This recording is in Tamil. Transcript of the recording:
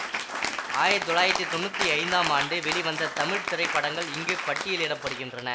ஆயிரத்தி தொள்ளாயிரத்தி தொன்னூத்தி ஐந்தாம் ஆண்டு வெளிவந்த தமிழ் திரைப்படங்கள் இங்கு பட்டியலிட படுகின்றன